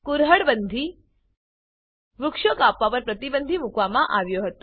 કુરહાડ Bandiકુરહળ બંદી વૃક્ષો કાપવા પર પ્રતિબંધ મૂકવામાં આવ્યો હતો